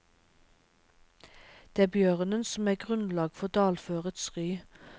Det er bjørnen som er grunnlag for dalførets ry.